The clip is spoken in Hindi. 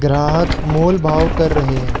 ग्राहक मोल भाव कर रहे हैं।